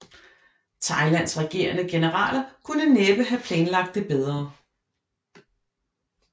Thailands regerende generaler kunne næppe have planlagt det bedre